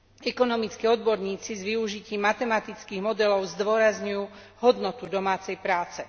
Ekonomickí odborníci s využitím matematických modelov zdôrazňujú hodnotu domácej práce.